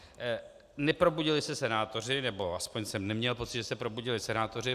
Neprobudili se senátoři, nebo aspoň jsem neměl pocit, že se probudili senátoři.